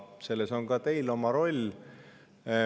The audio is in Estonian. Selles on ka teil oma roll.